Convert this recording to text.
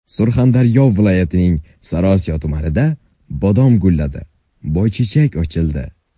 Surxondaryo viloyatining Sariosiyo tumanida bodom gulladi, boychechak ochildi.